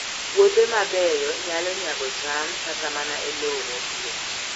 Puothe mabeyo nyalo nyago cham kata mana e lowo motwo